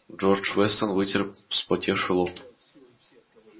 джордж вестон вытер вспотевший лоб